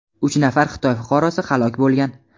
uch nafar Xitoy fuqarosi halok bo‘lgan.